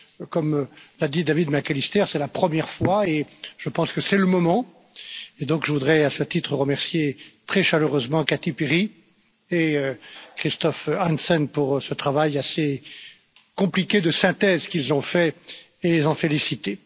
Comme l'a dit David McAllister, c'est la première fois, et je pense que c'est le moment, et donc je voudrais à ce titre remercier très chaleureusement Kati Piri et Christophe Hansen pour ce travail assez compliqué de synthèse qu'ils ont fait et les en féliciter.